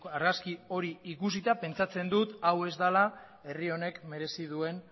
argazki hori ikusita pentsatzen dut hau ez dela herri honek merezi duen